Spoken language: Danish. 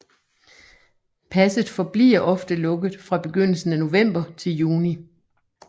Passet forbliver ofte lukket fra begyndelsen af november til juni